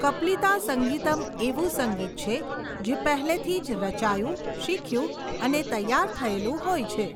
કપ્લિતા સંગીતમ એવું સંગીત છે જે પહેલેથી જ રચાયું, શીખ્યું અને તૈયાર થયેલું હોય છે.